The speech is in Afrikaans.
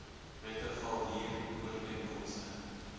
wette val huurooreenkomste